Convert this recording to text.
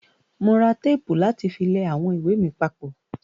Mo ra tẹ́pù láti fi lẹ àwọn ìwé mi papọ̀.